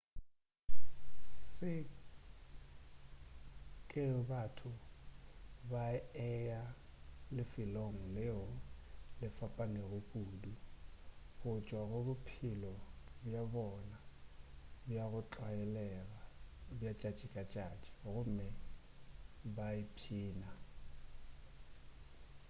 se ke ge batho ba eya lefelong leo le fapanego kudu go tšwa go bophelo bja bona bja go tlwaelega bja tšatši-ka-tšatši gomme ba ipšhina